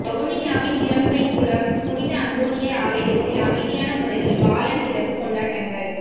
வவுனியாவின் இறம்பைக்குளம் புனித அந்தோனியார் ஆலயத்தில் அமைதியான முறையில் பாலன் பிறப்பு கொண்டாட்டங்கள்